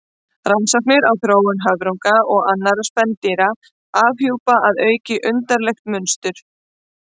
Rannsóknir á þróun höfrunga og annarra spendýra afhjúpa að auki undarlegt mynstur.